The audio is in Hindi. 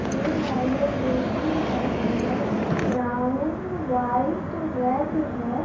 ये वाले बेसिन का कलर ब्राउन व्हाइट रेड है।